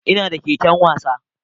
Ina da keken wasa